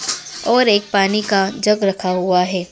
और एक पानी का जग रखा हुआ है।